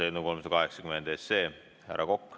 Härra Kokk, palun!